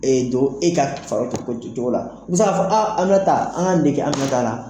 Don e ka cogo la, bɛ se k'a fɔ Aminata an ka nin de kɛ Aminata la.